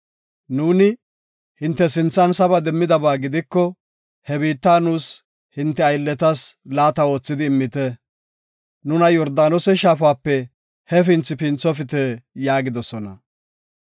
Nuuni hinte sinthan saba demmidaba gidiko, he biitta nuus hinte aylleta laata oothidi immite; nuna Yordaanose shaafape hefinthi pinthofite” yaagidosona.